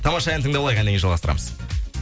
тамаша ән тыңдап алайық әннен кейін жалғастырамыз